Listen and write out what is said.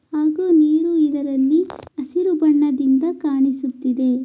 ಹಾಗು ನೀರು ಇದರಲ್ಲಿ ಹಸಿರು ಬಣ್ಣದಿಂದ ಕಾಣಿಸುತ್ತಿದೆ.